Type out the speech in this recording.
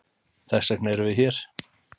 Þessvegna eru við hér.